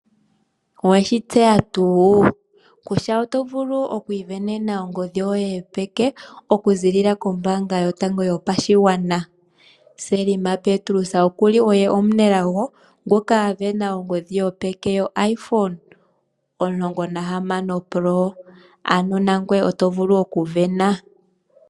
Owe shi tseya tuu kutya oto vulu oku isindanena ongodhi yoye yopeke okuziilila kombaanga yotango yopashigwana? Selma Petrus oku li oye omunelago ngoka a sindana ongodhi yopeke yoIPhone 16 Pro, ano nangoye oto vulu okusindana.